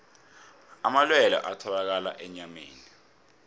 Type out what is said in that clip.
amalwelwe atholakala enyameni